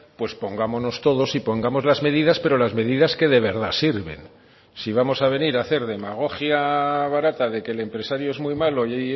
pues pongámonos todos y pongamos las medidas pero las medidas que de verdad sirven si vamos a venir a hacer demagogia barata de que el empresario es muy malo y